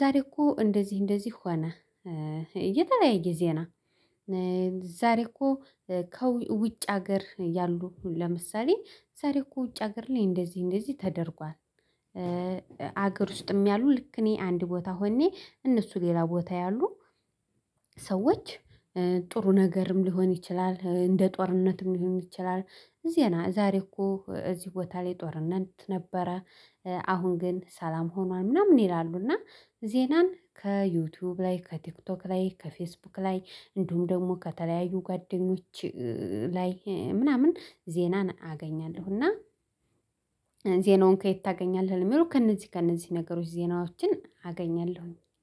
ዛሬ እኮ እንደዚህ ሆነ። እየተለያየ ጊዜ ነው። ዛሬ እኮ ከውጭ ሀገር ያሉ ለምሳሌ ዛሬ እኮ ውጭ ሀገር ላይ እንደዚህ እንደዚህ ተደርጓል። አገር ውስጥም ያሉ ልክ እኔ አንድ ቦታ ሆኜ እነሱ ሌላ ቦታ ያሉ ሰዎች ጥሩ ነገርም ሊሆን ይችላል እንደ ጦርነትም ሊሆን ይችላል። ዜና ዛሬ እኮ እዚህ ቦታ ላይ ጦርነት ነበረ። አሁን ግን ሰላም ሆኗል ምናምን ይላሉ። እና ዜናን ከዩቲዩብ ላይ ከቲክቶክ ላይ ከፌስቡክ ላይ እንዲሁም ደግሞ ከተለያዩ ጓደኞች ላይ ምናምን ዜናን አገኛለሁ። እና ዜናውን ከየት ታገኛለህ? የሚሉ ከእነዚህ ከእነዚህ ነገሮች ዜናዎችን አገኛለሁ